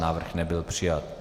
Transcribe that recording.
Návrh nebyl přijat.